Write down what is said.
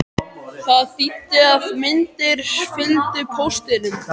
Það þýddi að myndir fylgdu póstinum.